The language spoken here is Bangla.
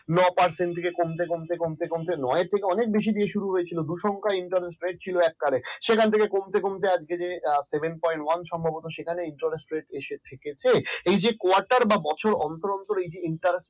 নয় parcent থেকে কমতে কমতে কমতে কমতে নয় এর থেকে আরও বেশি শুরু হয়েছে দূর সংখ্যায় interest ret ছিল এককালে। সেখান থেকে কমতে কমতে আজকের seven point one সম্ভবত interest rate এসে ঠিক আছে কোয়াটার বা বছর interest rate